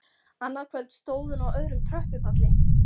Annað kvöld stóð hún á öðrum tröppupalli.